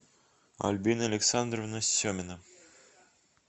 альбина александровна семина